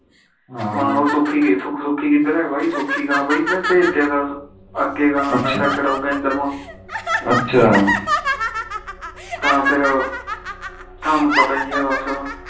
ਮੈ ਕਾ ਸੁਖੀ ਸੁਖੀ ਕਿਧਰੇ ਸੁਖੀ ਕਹਾ ਬਾਈ ਆਖੇ ਨਸ਼ਾ ਸ਼ਡੋਓ ਕੇਦਰ ਅੱਛਾ ਤਾ ਫਿਰ ਥਾਨੂੰ ਪਤਾ ਹੀ ਆ ਬਸ